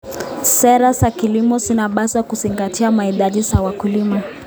Sera za kilimo zinapaswa kuzingatia mahitaji ya wakulima.